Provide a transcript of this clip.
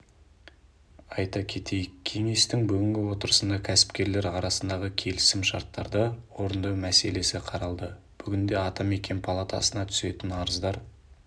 айта кетейік кеңестің бүгінгі отырысында кәсіпкерлер арасындағы келісімшарттарды орындау мәселесі қаралды бүгінде атамекен палатасына түсетін арыздар